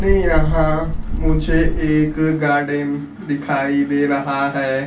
में यहां मुझे एक गार्डन दिखाई दे रहा है।